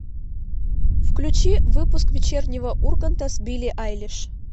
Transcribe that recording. включи выпуск вечернего урганта с билли айлиш